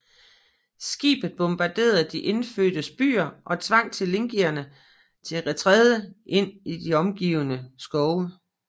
Skibet bombarderede de indfødtes byer og tvang tlingiterne til retræte ind i de omkringliggende skove